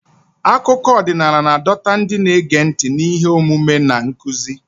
Akụkọ ọdịnala na-adọta ndị na-ege ntị n'ihe omume na nkuzi.